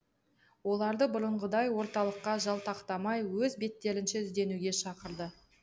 оларды бұрынғыдай орталыққа жалтақтамай өз беттерінше ізденуге шақырды